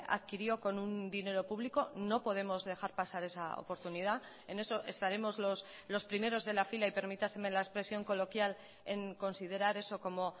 adquirió con un dinero público no podemos dejar pasar esa oportunidad en eso estaremos los primeros de la fila y permítaseme la expresión coloquial en considerar eso como